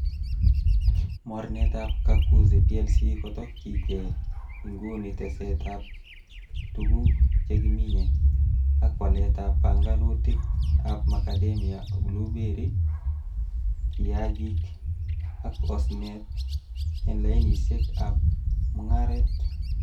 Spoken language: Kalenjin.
Mornetab kakuzi PLC kotokyinge inguni tesetab tuguk che kimine, ak waletab pongonutikab Macadamia, blueberry, kiyagik ak osnet en lainisiek ab mungaret.